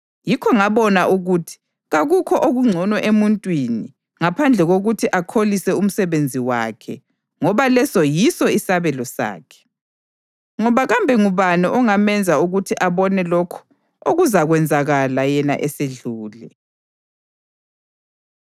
Yikho ngabona ukuthi kakukho okungcono emuntwini ngaphandle kokuthi akholise umsebenzi wakhe ngoba leso yiso isabelo sakhe. Ngoba kambe ngubani ongamenza ukuthi abone lokho okuzakwenzakala yena esedlule?